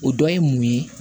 O dɔ ye mun ye